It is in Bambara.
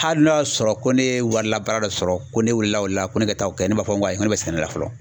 Hali n'a y'a sɔrɔ ko ne ye warilabaara dɔ sɔrɔ ko ne weele la o de la ,ko ne ka t'a kɛ ,ne b'a fɔ n ko ayi, ne bɛ sɛnɛ la fɔlɔ!